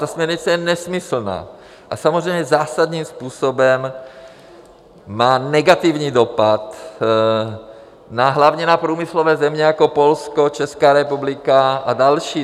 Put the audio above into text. Ta směrnice je nesmyslná a samozřejmě zásadním způsobem má negativní dopad hlavně na průmyslové země jako Polsko, Česká republika a další.